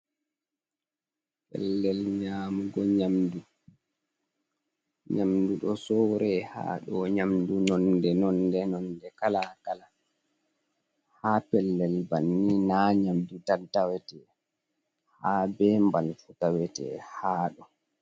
Pellel nyamugo nyamdu, nyamdu do sowre ha ɗo nyamdu nonde nonde nonde kala kala ha pellel banni na nyamdu tan tawete ha be mbal fu tawete ha ɗo.